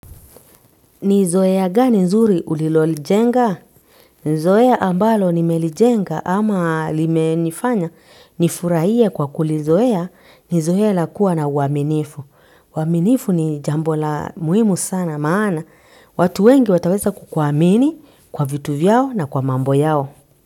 Nizoea gani nzuri ulilolijenga? Zoea ambalo nimelijenga ama limenifanya nifurahie kwa kulizoea, nizoea la kuwa na uaminifu. Uaminifu ni jambo la muhimu sana maana. Watu wengi wataweza kukwamini kwa vitu vyao na kwa mambo yao.